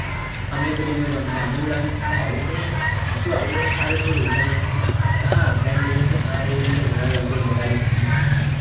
સાલું આવું કરવાનું હાચુ આવું હોય આ રીતના જલશા કરવાના હોય હા friend લોકો કી હા એ રીતે જ હોય કઈ બધા lecture ની ભરવાના